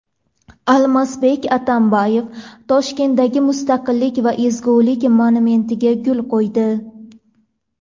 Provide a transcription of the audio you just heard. Almazbek Atamboyev Toshkentdagi Mustaqillik va ezgulik monumentiga gul qo‘ydi.